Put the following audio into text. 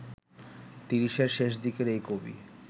তিরিশের শেষদিকের এই কবি